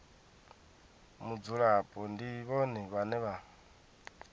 mudzulapo ndi vhone vhane vha